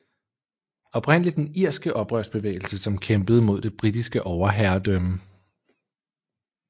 Oprindelig den irske oprørsbevægelse som kæmpede mod det britiske overherredømme